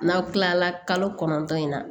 N'aw kila la kalo kɔnɔntɔn in na